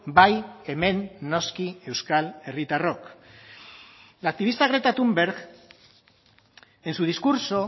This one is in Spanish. bai hemen noski euskal herritarrok la activista greta thunberg en su discurso